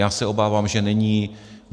Já se obávám, že není.